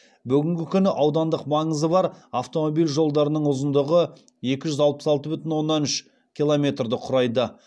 бүгінгі күні аудандық маңызы бар автомобиль жолдарының ұзындығы екі жүз алпыс алты бүтін оннан үш километрды құрайды